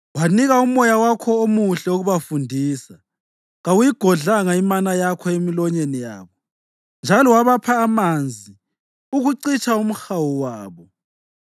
Wanika uMoya wakho omuhle ukubafundisa. Kawuyigodlanga imana yakho emilonyeni yabo, njalo wabapha amanzi ukucitsha umhawu wabo.